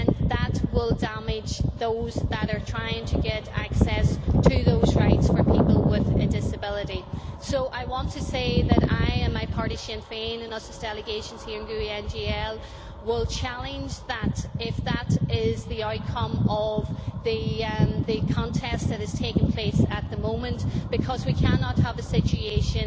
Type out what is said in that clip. That will damage those who are trying to get access to those rights for people with a disability. I want to say that I and my party, Sinn Féin, as a delegation here in the GUE NGL Group, will challenge that if it is the outcome of the contest that is taking place at the moment, because we cannot have a situation